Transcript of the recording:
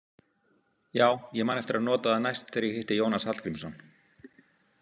Já, ég man eftir að nota það næst þegar ég hitti Jónas Hallgrímsson.